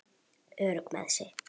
Örugg með sig.